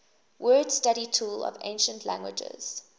word study tool of ancient languages